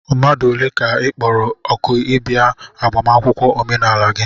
mmadụ ole ka ị kpọrọ òkù ịbịa agbamakwụkwọ omenala gị?